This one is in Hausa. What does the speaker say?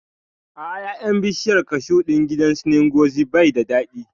A'a, ƴaƴan bishiyar kashu ɗin gidan su Ngozi bai da daɗi